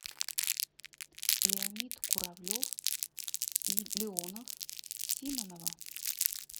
леонид куравлев и леонов симонова